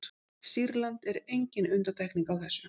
sýrland er engin undantekning á þessu